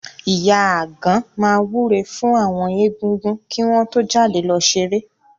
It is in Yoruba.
Ìyá Àgan máa wúre fún àwọn Egúngún kí wọ́n tó jáde lọ ṣeré.